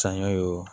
Saɲɔ o